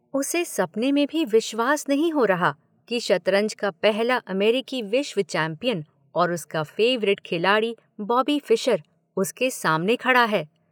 उसे सपने में भी विश्वास नहीं हो रहा कि शतरंज का पहला अमेरिकी विश्व चैंपियन और उसका फेवरेट खिलाड़ी बॉबी फिशर उसके सामने खड़ा है।